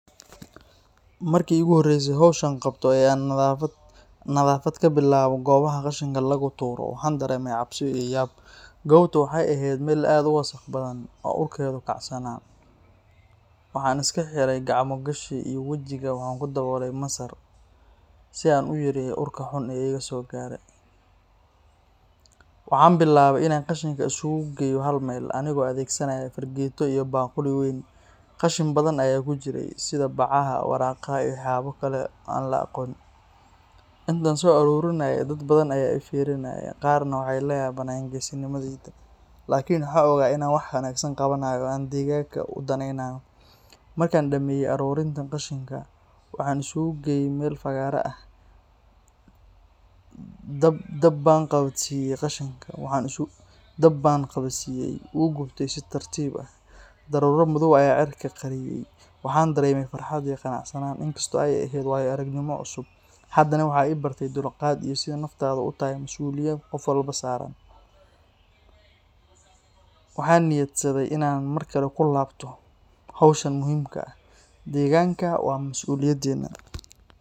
Markii iguhoreyse howshan qabto ee aan nadaafad ka bilaabo goobaha qashinka lagu tuuro, waxaan dareemay cabsi iyo yaab. Goobtu waxay ahayd meel aad u wasakh badan, oo urkeedu kacsanaa. Waxaan iska xiray gacmo gashi iyo wejiga waxaan ku daboolay masar, si aan u yareeyo urka xun ee iga soo gaarayay. Waxaan bilaabay inaan qashinka isugu geeyo hal meel, anigoo adeegsanaya fargeeto iyo baaquli weyn. Qashin badan ayaa ku jiray, sida bacaha, waraaqaha, iyo waxyaabo kale oo aan la aqoon. Intaan soo aruurinayay, dad badan ayaa i fiirinayay, qaarna waxay la yaabeen geesinimadayda. Laakiin waxaan ogaa inaan wax wanaagsan qabanayo oo deegaanka u danaynayo. Markaan dhammeeyay aruurinta qashinka, waxaan isugu geeyay meel fagaare ah, dab baan qabadsiiyay. Wuu gubtay si tartiib ah, daruuro madow ayaa cirka qariyay. Waxaan dareemay farxad iyo qanacsanaan. In kastoo ay ahayd waayo-aragnimo cusub, haddana waxay i bartay dulqaad iyo sida nadaafaddu u tahay mas'uuliyad qof walba saaran. Waxaan niyadsaday inaan markale ku laabto howshan muhiimka ah. Deegaanku waa mas'uuliyadeenna